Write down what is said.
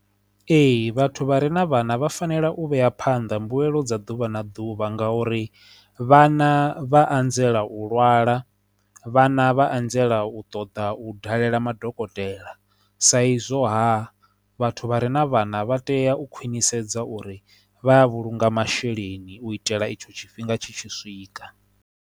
Ee, vhathu vha re na vhana vha fanela u vhea phanḓa mbuelo dza ḓuvha na ḓuvha ngauri vhana vha anzela u lwala vhana vha anzela u ṱoḓa u u dalela madokotela sa izwo ha vhathu vha re na vhana vha tea u khwinisa sedza uri vha vhulunga masheleni u itela itsho tshifhinga tshi tshi swika.